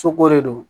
Soko de do